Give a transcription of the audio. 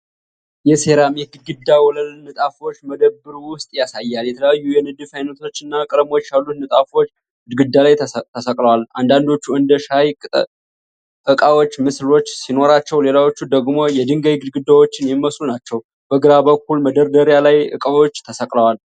የሴራሚክ ግድግዳና ወለል ንጣፎች መደብር ውስጥ ያሳያል። የተለያዩ የንድፍ ዓይነቶችና ቀለሞች ያሉት ንጣፎች ግድግዳ ላይ ተሰቅለዋል። አንዳንዶቹ እንደ የሻይ ዕቃዎች ምስሎች ሲኖራቸው፣ ሌላዎቹ ደግሞ የድንጋይ ግድግዳዎችን የሚመስሉ ናቸው። በግራ በኩል መደራደርያ ላይ ዕቃዎች ተሰቅለዋል።